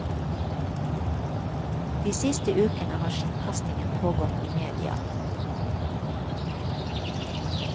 De siste ukene har skittkastingen pågått i media.